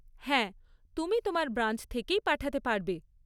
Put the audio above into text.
হ্যাঁ, তুমি তোমার ব্রাঞ্চ থেকেই পাঠাতে পারবে।